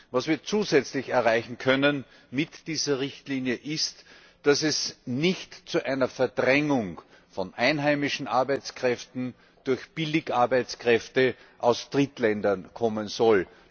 Was wir zusätzlich erreichen können mit dieser Richtlinie, ist, dass es nicht zu einer Verdrängung von einheimischen Arbeitskräften durch Billigarbeitskräfte aus Drittländern kommen soll.